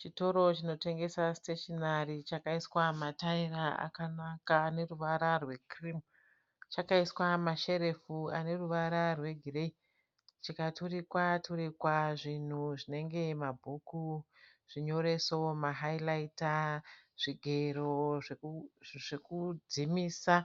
Chitoro chinotengesa siteshenari chakaiswa matayira akanaka ane ruvara rwekirimu. Chakaiswa masherefu ane ruvara rwegireyi. Chikaturikwa turikwa zvinhu zvinenge mabhuku, zvinyoreso, mahayirayita, zvigero, zvekudzimisa